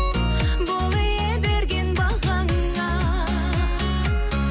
бол ие берген бағаңа